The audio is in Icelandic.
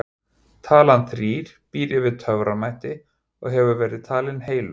Talan þrír býr yfir töframætti og hefur verið talin heilög.